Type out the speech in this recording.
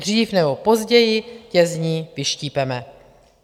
Dřív nebo později tě z ní vyštípeme.